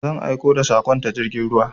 Zan aiko da saƙon ta jirgin ruwa.